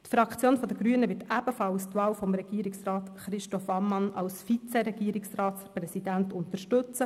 Die Fraktion der Grünen wird ebenfalls die Wahl von Regierungsrat Christoph Ammann zum Vizeregierungsratspräsidenten unterstützen.